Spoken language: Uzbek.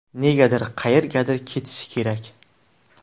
Nega qayergadir ketishi kerak?